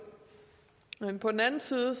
men på den anden side var